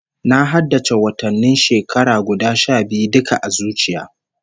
Na haddace watannin shekara guda sha biyu duka a zuciya